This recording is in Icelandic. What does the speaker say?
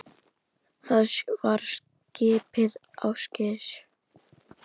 Það var skipið Ásgeir